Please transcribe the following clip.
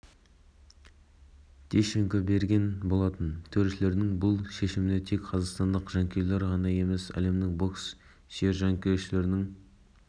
естеріңізге сала кетейік келі салмақ дәрежесі бойынша бокстан олимпиадалық турнирдің ақтық айқасында төрешілер жеңісті ресейлік евгений